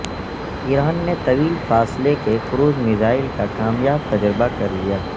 ایران نے طویل فاصلے کے کروز میزائل کا کامیاب تجربہ کرلیا